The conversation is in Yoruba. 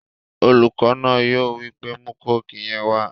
Olùkọ náà yóò wípé 'mú kóòkì yẹn wá!'